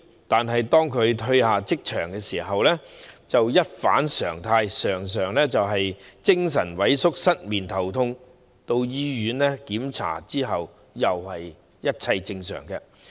但是，當他們從職場退下時，便會一反常態，常常感到精神萎靡、失眠、頭痛，到醫院檢查發現其實一切正常。